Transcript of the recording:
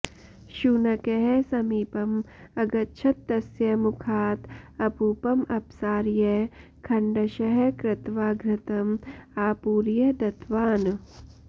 शुनकः समीपम् अगच्छत तस्य मुखात् अपूपम् अपसार्य खण्डशः कृत्वा घृतम् आपूर्य दत्तवान्